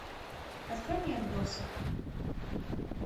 открой мне отбросы